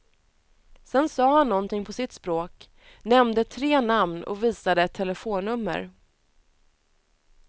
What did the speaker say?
Sedan sa han någonting på sitt språk, nämnde tre namn och visade ett telefonnummer.